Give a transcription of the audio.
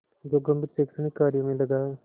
जो गंभीर शैक्षणिक कार्यों में लगा है